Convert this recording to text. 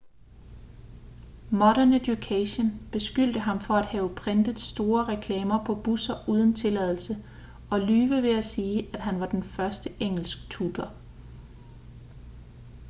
modern education beskyldte ham for at have printet store reklamer på busser uden tilladelse og lyve ved at sige at han var den øverste engelsktutor